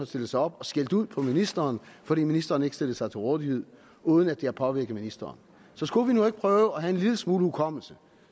stillede sig op og skældte ud på ministeren fordi ministeren ikke stillede sig til rådighed uden at det påvirkede ministeren så skulle vi nu ikke prøve at have en lille smule hukommelse